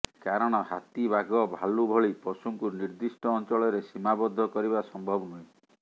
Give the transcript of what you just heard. କାରଣ ହାତୀ ବାଘ ଭାଲୁ ଭଳି ପଶୁଙ୍କୁ ନିର୍ଦିଷ୍ଟ ଅଞ୍ଚଳରେ ସୀମାବଦ୍ଧ କରିବା ସମ୍ଭବ ନୁହେଁ